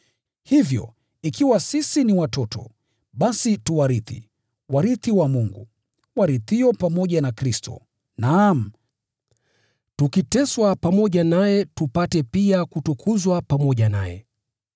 Hivyo, ikiwa sisi ni watoto, basi tu warithi, warithi wa Mungu, warithio pamoja na Kristo, naam, tukiteswa pamoja naye tupate pia kutukuzwa pamoja naye.